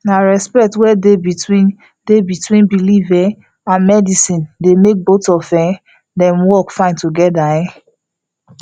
na respect wey dey between dey between belief um and medicine dey make both of um dem work fine together um